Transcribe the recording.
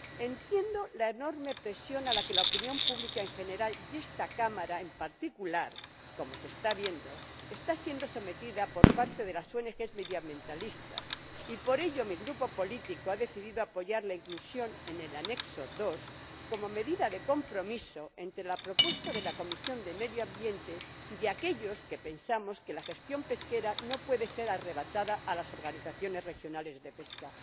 Entiendo la enorme presión a la que la opinión pública en general y esta Cámara en particular ─como se está viendo─ está siendo sometida por parte de las ONG medioambientalistas, y por ello mi Grupo político ha decidido apoyar la inclusión en el Apéndice II como medida de compromiso entre la propuesta de la Comisión de Medio Ambiente y aquellos que pensamos que la gestión pesquera no puede ser arrebatada a las organizaciones regionales de pesca.